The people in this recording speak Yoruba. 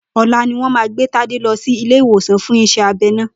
Ò̩la ni wó̩n máa gbé Tádé lo̩ sí ilé iwòsan fún is̩é̩ abe̩ náà